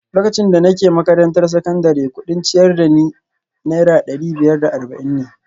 Lokacin da nake makarantar sakandare, kudin ciyar da ni Naira dari biyar da arba’in ne